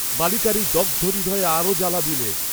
বালিকার এই দগ্ধ হৃদয়ে আরও জ্বালা দিলে।